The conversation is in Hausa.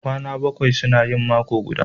Kwana bakwai suna yin mako guda